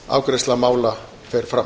afgreiðsla mála fer fram